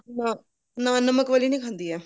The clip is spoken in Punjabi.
ਨਾ ਨਾ ਨਮਕ ਵਾਲੀ ਨਹੀਂ ਖਾਂਦੀ ਇਹ